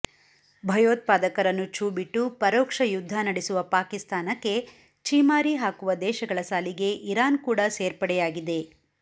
ಭಯೋತ್ಪಾದಕರನ್ನು ಛೂ ಬಿಟ್ಟು ಪರೋಕ್ಷ ಯುದ್ಧ ನಡೆಸುವ ಪಾಕಿಸ್ತಾನಕ್ಕೆ ಛೀಮಾರಿ ಹಾಕುವ ದೇಶಗಳ ಸಾಲಿಗೆ ಇರಾನ್ ಕೂಡ ಸೇರ್ಪಡೆಯಾಗಿದೆ